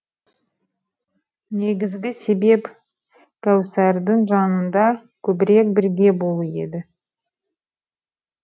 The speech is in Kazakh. негізгі себеп кәусардың жанында көбірек бірге болу еді